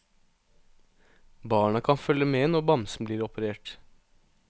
Barna kan følge med når bamsen blir operert.